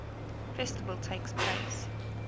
festival takes place